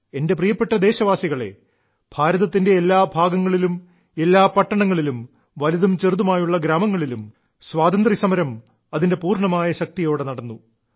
എന്റെ പ്രിയപ്പെട്ട ദേശവാസികളേ ഭാരതത്തിന്റെ എല്ലാ ഭാഗങ്ങളിലും എല്ലാ പട്ടണങ്ങളിലും വലുതും ചെറുതുമായുള്ള ഗ്രാമങ്ങളിലും സ്വാതന്ത്ര്യസമരം അതിന്റെ പൂർണ്ണമായ ശക്തിയോടെ നടന്നു